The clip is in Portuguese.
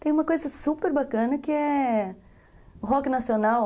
Tem uma coisa super bacana que é... O rock nacional...